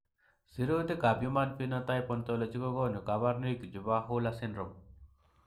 Sirutikab Human Phenotype Ontology kokonu koborunoikchu chebo Hurler syndrome.